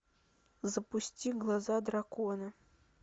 запусти глаза дракона